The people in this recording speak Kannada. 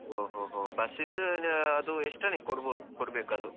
ಹೊ ಹೊ ಹೊ, bus ದ್ದು ಅದು extra ನೀವು ಕೊಡ್ಬೇಕು ಅದು.